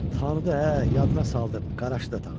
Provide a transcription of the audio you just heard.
Tanıdı hə, yadına saldım, qarajı da tanıdı.